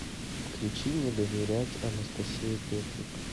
включи не доверять анастасия петрик